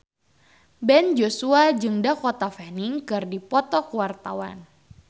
Ben Joshua jeung Dakota Fanning keur dipoto ku wartawan